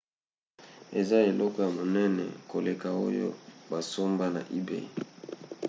eza eloko ya monene koleka oyo basomba na ebay